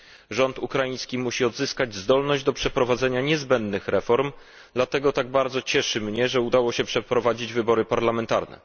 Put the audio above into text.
Rząd ukraiński musi odzyskać zdolność do przeprowadzenia niezbędnych reform, dlatego tak bardzo cieszy mnie, że udało się przeprowadzić wybory parlamentarne.